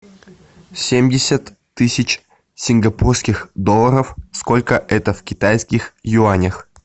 семьдесят тысяч сингапурских долларов сколько это в китайских юанях